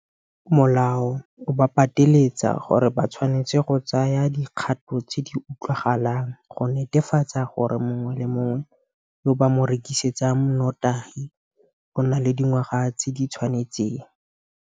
Molao o ba pateletsa gore ba tshwanetse go tsaya dikgato tse di utlwagalang go netefatsa gore mongwe le mongwe yo ba mo rekisetsang notagi o na le dingwaga tse di tshwanetseng.